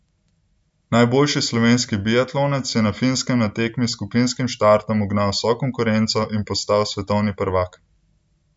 Najboljši slovenski biatlonec je na Finskem na tekmi s skupinskim startom ugnal vso konkurenco in postal svetovni prvak!